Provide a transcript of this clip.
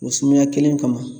O sumaya kelen kama